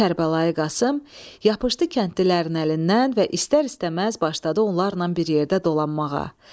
Kərbəlayı Qasım yapışdı kəndlilərin əlindən və istər-istəməz başladı onlarla bir yerdə dolanmağa.